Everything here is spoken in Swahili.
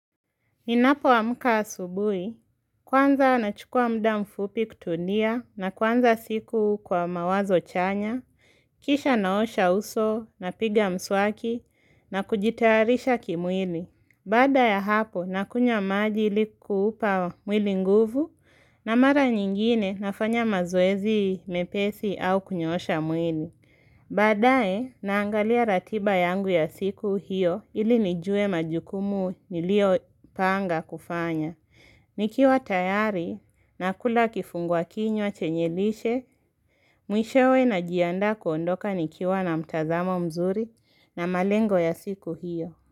Ninapo amka asubuhi, kwanza na chukua muda mfupi kutulia na kwanza siku kwa mawazo chanya, kisha naosha uso napiga mswaki na kujitarisha kimwili. Baada ya hapo nakunywa maji ili kuupa mwili nguvu na mara nyingine nafanya mazoezi mepesi au kunyosha mwili. Baadae naangalia ratiba yangu ya siku hiyo ili nijue majukumu niliyo panga kufanya. Nikiwa tayari nakula kifungua kinywa chenye lishe. Mwishowe najianda kuondoka nikiwa na mtazamo mzuri na malengo ya siku hiyo.